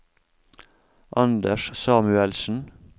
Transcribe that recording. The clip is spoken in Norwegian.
Anders Samuelsen